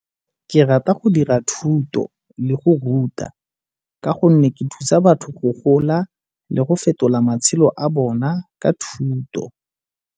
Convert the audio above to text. Ke rata go dira thuto le go ruta ka gonne ke thusa batho go gola le go fetola matshelo a bona ka thuto.